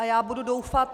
A já budu doufat...